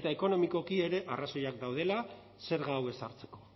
eta ekonomikoki ere arrazoiak daudela zerga hau ezartzeko